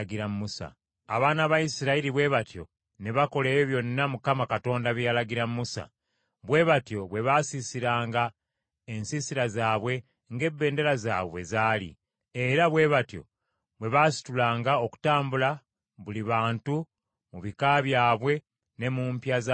Abaana ba Isirayiri bwe batyo ne bakola ebyo byonna Mukama Katonda bye yalagira Musa. Bwe batyo bwe baasiisiranga ensiisira zaabwe ng’ebendera zaabwe bwe zaali, era bwe batyo bwe baasitulanga okutambula buli bantu mu bika byabwe ne mu mpya za bajjajjaabwe.